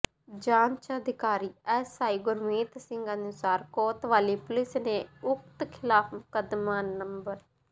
ਜਾਂਚ ਅਧਿਕਾਰੀ S I Gurmeet Singh ਅਨੁਸਾਰ ਕੋਤਵਾਲੀ ਪੁਲਿਸ ਨੇ ਉਕਤ ਖਿਲਾਫ ਮੁਕੱਦਮਾ ਨੰ